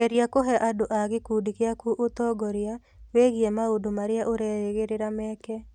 Geria kũhe andũ a gĩkundi gĩaku ũtongoria wĩgiĩ maũndũ marĩa ũrerĩgĩrĩra meke.